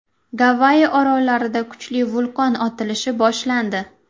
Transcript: Gavayi orollarida kuchli vulqon otilishi boshlandi.